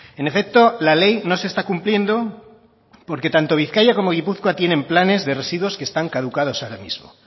en efecto la ley no se está cumpliendo porque tanto bizkaia como gipuzkoa tienen planes de residuos que están caducados ahora mismo